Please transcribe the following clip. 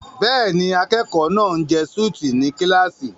Bẹ́ẹ̀ni, akẹ́kọ̀ọ́ náà ń jẹ súùtì ní kíláàsì.